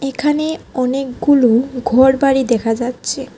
এখানে অনেকগুলো ঘরবাড়ি দেখা যাচ্ছে।